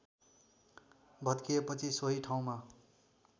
भत्किएपछि सोही ठाउँमा